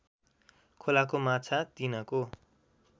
खोलाको माछा तिनको